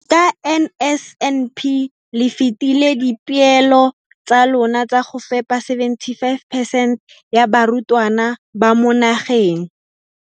ka NSNP le fetile dipeelo tsa lona tsa go fepa 75 percent ya barutwana ba mo nageng.